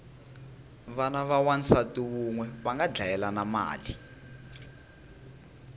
vana va wansati unwe vanga dlayelana mali